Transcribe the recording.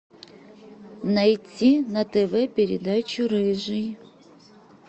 найти на тв передачу рыжий